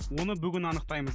оны бүгін анықтаймыз